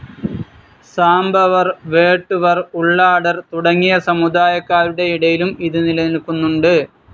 സാംബവർ, വേട്ടുവർ, ഉള്ളാടർ തുടങ്ങിയ സമുദായക്കാരുടെയിടയിലും ഇത് നിലനില്ക്കുന്നുണ്ട്.